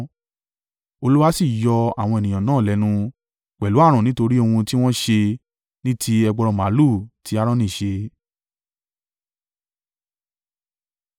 Olúwa sì yọ àwọn ènìyàn náà lẹ́nu, pẹ̀lú ààrùn nítorí ohun tí wọ́n ṣe ní ti ẹgbọrọ màlúù tí Aaroni ṣe.